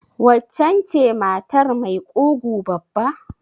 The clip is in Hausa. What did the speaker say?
Waccen ce matar mai ƙugu babba?